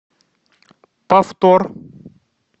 повтор